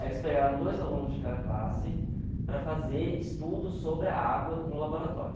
Aí eles pegaram dois alunos de cada classe para fazer estudos sobre a água no laboratório.